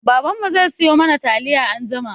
Baban mu zai siyo mana taliya anjima.